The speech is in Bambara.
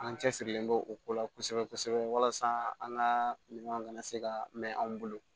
An cɛsirilen don o ko la kosɛbɛ kosɛbɛ walasa an ka minanw kana se ka mɛn anw bolo